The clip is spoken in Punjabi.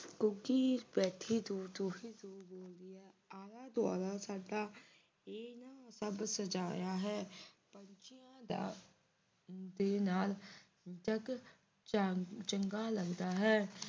ਘੁੱਗੀ ਬੈਠੀ ਦੂਰ ਤੂੰ ਹੀ ਤੂੰ ਤੂੰ ਬੋਲਦੀ ਹੈ ਆਲਾ-ਦੁਆਲਾ ਸਾਡਾ ਇਨ੍ਹਾਂ ਨੇ ਸਭ ਸਜਾਇਆ ਹੈ ਪੰਛੀਆਂ ਦਾ ਦੇ ਨਾਲ ਜਗ ਚਗਾ ਲਗਦਾ ਹੈ